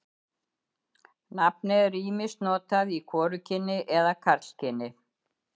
Nafnið er ýmist notað í hvorugkyni eða karlkyni.